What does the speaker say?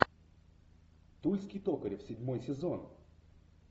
тульский токарев седьмой сезон